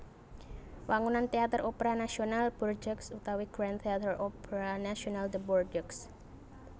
Wangunan Téater Opera Nasional Bordeaux utawi Grand Theatre Opera National de Bordeaux